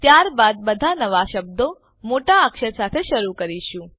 અને ત્યાર બાદ બધા નવા શબ્દો મોટા અક્ષર સાથે શરૂ કરીશું